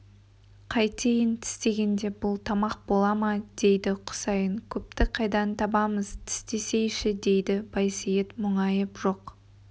қайтейін тістегенде бұл тамақ бола ма дейді құсайын көпті қайдан табамыз тістесейші дейді байсейіт мұңайып жоқ